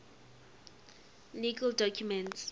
legal documents